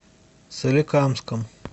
соликамском